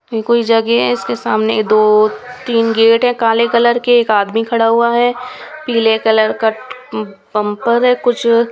ये कोई जगह इसके सामने दो तीन गेट है काले कलर के एक आदमी खड़ा हुआ है पीले कलर का अं बंपर है कुछ--